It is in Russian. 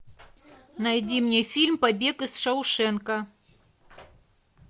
найди мне фильм побег из шоушенка